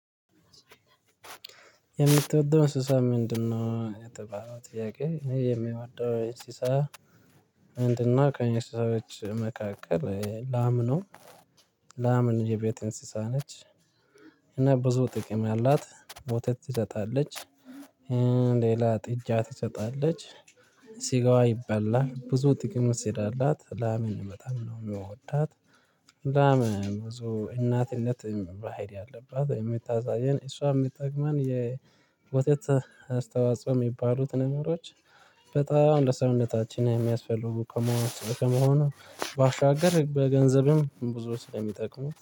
የምትወደው እንስሳ ምንድነው? የተባለው ጥያቄ አኔ የሚወደው እንስሳ ምንድነው ከእንስሳዎች መካከል ላም ነው። ላምን የቤቴ እንስሳ ነች። እና ብዙ ጥቅም ያላት ወተት ትሰጣለች። ሌላ ጥጃ ትሰጣለች። ሲጋዋ ይበላል ብዙ ጥቅም ስላላት ላምን በጣም ነው እምወዳት። ላም ብዙ እናትነት በሀሪ አለባት የምታሳየን እሷ የምጠቅመን የወተት አስተዋጽኦ የሚባሉት ነገሮች። በጣም ለሰዉነታችን የሚያስፈልጉ ከመሆኑ ባሻገር በገንዘብም ብዙ ስለሚጠቅሙ